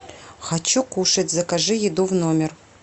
хочу кушать закажи еду в номер